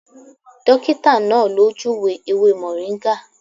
Dọ́kítà náà ló júùwé ewé mọ̀ríngà.